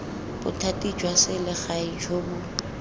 bothati jwa selegae jo bo